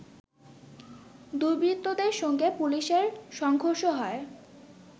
দুর্বৃত্তদের সঙ্গে পুলিশের সংঘর্ষ হয়্